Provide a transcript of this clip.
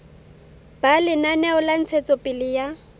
ba lenaneo la ntshetsopele ya